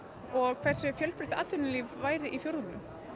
og hversu fjölbreytt atvinnulíf væri í fjórðungnum